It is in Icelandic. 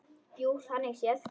Jú, þannig séð.